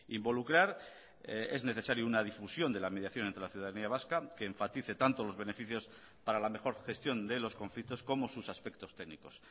involucrar es necesario una difusión de la mediación entre la ciudadanía vasca que enfatice tanto los beneficios para la mejor gestión de los conflictos como sus aspectos técnicos